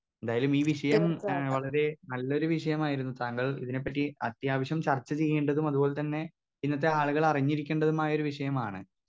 Speaker 2 എന്തായലും ഈ വിഷയം ഏ വളരെ നല്ലൊരു വിഷയമായിരുന്നു താങ്കൾ ഇതിനെപ്പറ്റി അത്യാവശ്യം ചർച്ച ചെയ്യേണ്ടതും അതുപോലെ ത്തന്നെ ഇന്നത്തെ ആളുകൾ അറിഞ്ഞിരിക്കേണ്ടതുമായ ഒരു വിഷയമാണ്.